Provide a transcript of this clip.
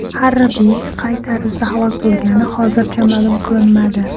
Harbiy qay tarzda halok bo‘lgani hozircha ma’lum qilinmadi.